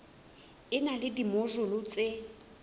e na le dimojule tse